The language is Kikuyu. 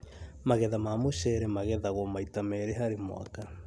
Magetha ma mũcere magethagwo maita merĩ harĩ mwaka